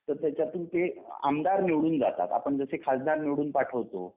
तस त्याच्यातून ते आमदार निवडून जातात आपण जसे खासदार निवडून पाठवतो